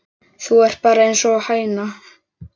Þú ert bara einsog hæna.